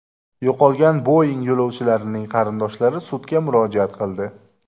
Yo‘qolgan Boeing yo‘lovchilarining qarindoshlari sudga murojaat qildi.